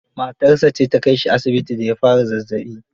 Matarsa ce ta kai shi asibiti da ya fara zazzaɓi.